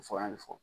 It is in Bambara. Fɔ an mi fɔ